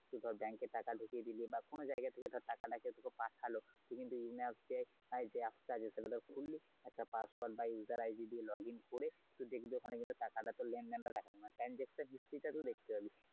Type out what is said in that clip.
Bank এ টাকা ঢুকিয়ে দিলি বা কোনো জায়গা থেকে টাকাটা তোকে কেউ পাঠালো তুই yones app এ password বা user id দিয়ে login করে তুই দেখবি ওখানে টাকাটা তোর লেন -দেন টা দেখাবে। transaction history টা দেখতে পাবি।